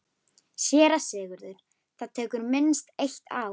SÉRA SIGURÐUR: Það tekur minnst eitt ár.